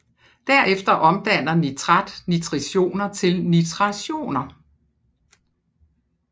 Derefter omdanner nitrat nitritioner til nitrationer